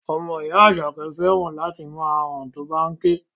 Ọmọ ìyá Àṣàkẹ́ fẹ́ràn láti máa han tó bá ń ké